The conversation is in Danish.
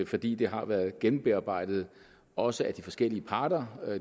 fordi det har været gennembearbejdet også af de forskellige parter